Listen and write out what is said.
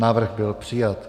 Návrh byl přijat.